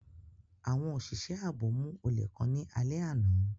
Awọn oṣiṣẹ aabo mu ole kan ni alẹ ana.